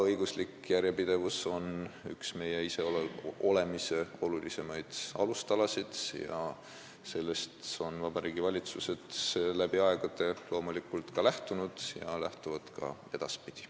Õiguslik järjepidevus on üks meie iseolemise olulisemaid alustalasid ja sellest on valitsused loomulikult läbi aegade lähtunud ja lähtuvad ka edaspidi.